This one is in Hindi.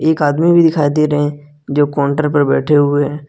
एक आदमी भी दिखाई दे रहे हैं जो काउंटर पर बैठे हुए हैं।